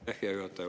Aitäh, hea juhataja!